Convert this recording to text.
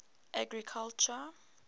agriculture